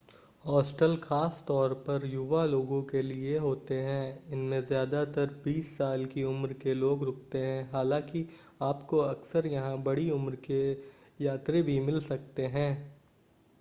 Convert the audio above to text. hostel खास तौर पर युवा लोगों के लिए होते हैं इनमें ज़्यादातर बीस साल की उम्र के लोग रुकते हैं हालांकि आपको अक्सर यहां बड़ी उम्र के यात्री भी मिल सकते हैं